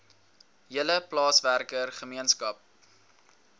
hele plaaswerker gemeenskap